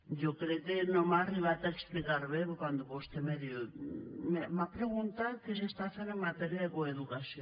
jo crec que no m’he arribat a explicar bé perquè quan vostè me diu m’ha preguntat què s’està fent en matèria de coeducació